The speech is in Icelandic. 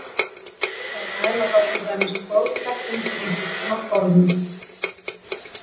Þær mæla þá til dæmis togkraftinn í einhvers konar gormum.